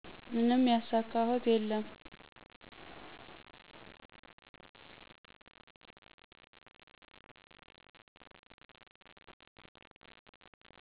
ምንም ያሳካሁት የለም